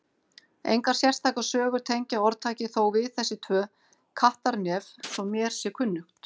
Engar sérstakar sögur tengja orðtakið þó við þessi tvö Kattarnef svo mér sé kunnugt.